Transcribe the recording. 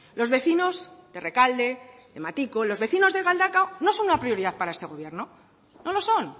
los vecinos de rekalde de matiko los vecinos de galdakao no son una prioridad para este gobierno no lo son